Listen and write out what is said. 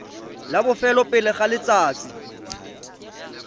la bofelo pele ga letsatsi